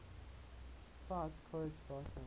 cite quote date